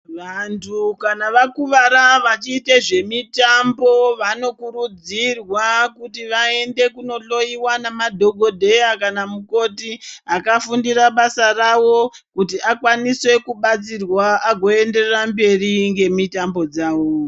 Vantu kana vakuvara vachiite zvemutambo vanokurudzirwa kuti vaende kundohloyiwa namadhokodheya kana mukoti akafundira basa rawo kuti akwanise kubatsirwa agoe kuenderera mberi nemitambo dzavo.